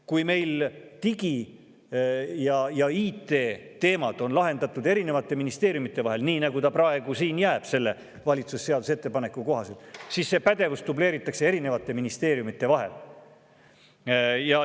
Kui meil on digi- ja IT-teemad lahendatud eri ministeeriumide vahel – nii nagu selle seaduseelnõu järgi praegu jääb, valitsuse ettepaneku kohaselt –, siis seda pädevust dubleeritakse eri ministeeriumides.